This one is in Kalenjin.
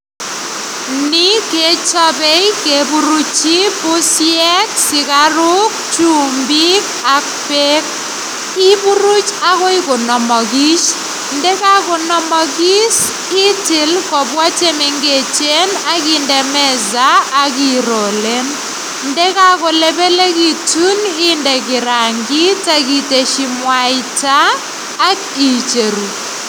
Background noise